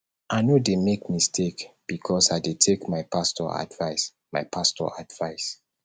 i no dey make mistake because i dey take my pastor advice my pastor advice